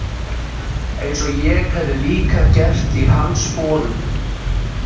Eins og ég hefði líka gert í hans sporum.